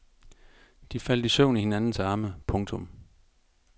De faldt i søvn i hinandens arme. punktum